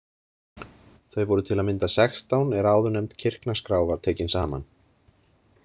Þau voru til að mynda sextán er áðurnefnd kirknaskrá var tekin saman.